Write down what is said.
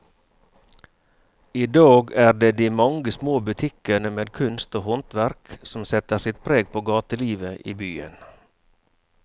I dag er det de mange små butikkene med kunst og håndverk som setter sitt preg på gatelivet i byen.